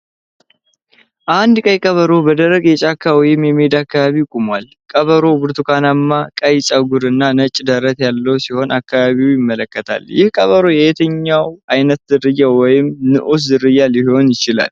አንድ ቀይ ቀበሮ በደረቅ የጫካ ወይም የሜዳ አካባቢ ቆሟል። ቀበሮው ብርቱካናማ-ቀይ ፀጉር እና ነጭ ደረት ያለው ሲሆን አካባቢውን ይመለከታል። ይህ ቀበሮ የትኛው ዓይነት ዝርያ ወይም ንዑስ ዝርያ ሊሆን ይችላል?